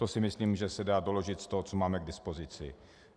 To si myslím, že se dá doložit z toho, co máme k dispozici.